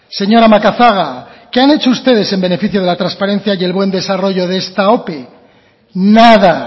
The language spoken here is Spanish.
señora macazaga qué han hecho ustedes en beneficio de la transparencia y el buen desarrollo de esta ope nada